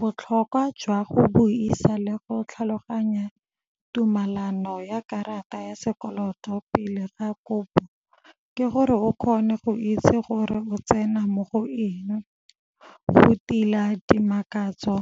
Botlhokwa jwa go bo isa le go tlhaloganya tumalano ya karata ya sekoloto pele ga kopo ke gore o kgone go itse gore o tsena mo go eng, go tila dimakatso